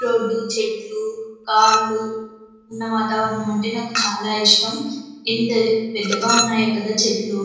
road చెట్లు car లు ఉన్న వాతావరణం అంటే నాకు చాల ఇష్టం ఎంత పెద్దగా ఉన్నాయో కదా చెట్లు --